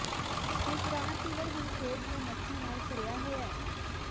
ਇਹ ਪੁਰਾਣਾ ਸੀਵਰ ਹੁਣ ਖੇਡ ਦੀਆਂ ਮੱਛੀਆਂ ਨਾਲ ਭਰਿਆ ਹੋਇਆ ਹੈ